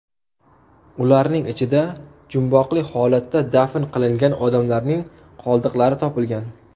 Ularning ichida jumboqli holatda dafn qilingan odamlarning qoldiqlari topilgan.